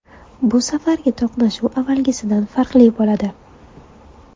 Bu safargi to‘qnashuv avvalgisidan farqli bo‘ladi”.